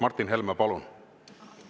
Martin Helme, palun!